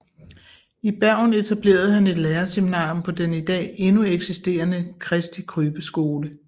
I Bergen etablerede han et lærerseminarium på den i dag endnu eksisterende Christi Krybbe skole